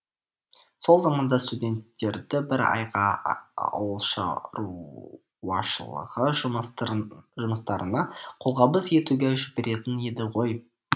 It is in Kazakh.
сол заманда студенттерді бір айға ауылшаруашылығы жұмыстарына қолғабыс етуге жіберетін еді ғой